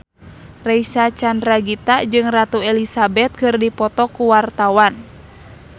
Reysa Chandragitta jeung Ratu Elizabeth keur dipoto ku wartawan